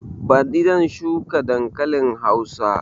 Baɗi zan shuka dankalin hausa